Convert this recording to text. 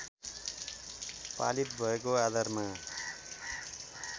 पालित भएको आधारमा